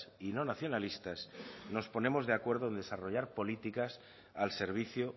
y no nacionalistas nos ponemos de acuerdo en desarrollar políticas al servicio